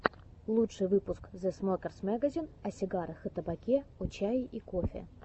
лучший выпуск зэ смокерс мэгазин о сигарах и табаке о чае и кофе